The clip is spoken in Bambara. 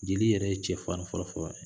Jeli yɛrɛ ye cɛ fari fɔlɔfɔlɔ de ye